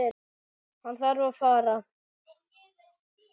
Hann þarf að fara.